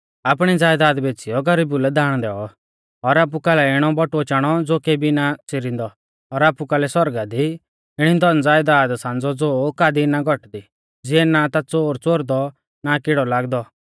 आपणी ज़यदाद बेच़ीयौ गरीबु लै दाण दैऔ और आपु कालै इणै बटुऐ चाणौ ज़ो केबी ना च़िरिंदै और आपु कालै सौरगा दी इणी धनज़यदाद सांज़ौ ज़ो कादी ना घौटदी ज़िऐ ना ता च़ोर च़ोरदौ और ना किड़ौ लागदौ